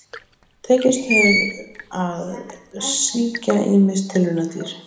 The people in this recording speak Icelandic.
Tekist hefur að sýkja ýmis tilraunadýr.